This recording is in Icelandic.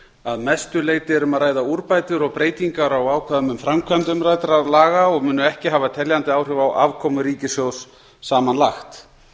að mestu leyti er um að ræða úrbætur og breytingar á ákvæðum um framkvæmd umræddra laga og munu ekki hafa teljandi áhrif á afkomu ríkissjóðs samanlagt